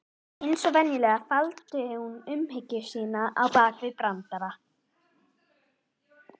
Eins og venjulega, faldi hún umhyggju sína bak við brandara.